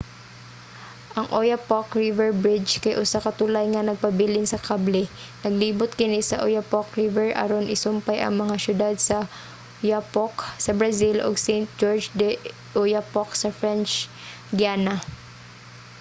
ang oyapock river bridge kay usa ka tulay nga nagpabilin sa kable. naglibot kini sa oyapock river aron isumpay ang mga siyudad sa oiapoque sa brazil ug saint-georges de i'oyapock sa french guiana